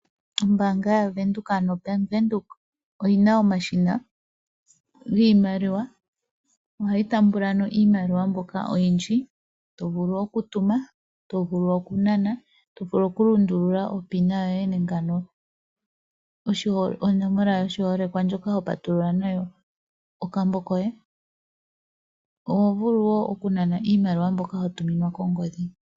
Ombaanga yaVenduka ano oBank Windhoek oyina omashina giimaliwa . Ohayi taamba iimaliwa mbyoka oyindji. Otovulu okutuma, otovulu okunana , tovulu okulundula onomola yoye yoshiholekwa ndjoka ho patulula nayo okambo. Oho vulu okunana iimaliwa mbyoka watuminwa kongodhi.